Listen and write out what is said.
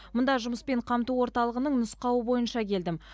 мұнда жұмыспен қамту орталығының нұсқауы бойынша келдім